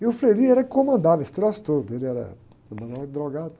E o era quem comandava, esse troço todo, ele era